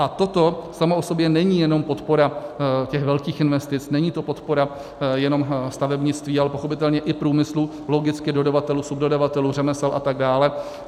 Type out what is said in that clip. A toto samo o sobě není jenom podpora těch velkých investic, není to podpora jenom stavebnictví, ale pochopitelně i průmyslu, logicky dodavatelů, subdodavatelů, řemesel a tak dále.